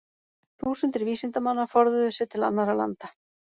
Þúsundir vísindamanna forðuðu sér til annarra landa.